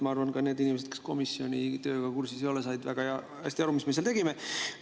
Ma arvan, et ka need inimesed, kes komisjoni tööga kursis ei ole, said väga hästi aru, mis me seal tegime.